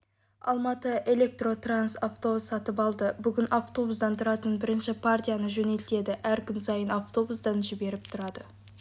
алматыэлектротранс автобус сатып алды бүгін автобустан тұратын бірінші партияны жөнелтеді әр күн сайын автобустан жіберіп тұрады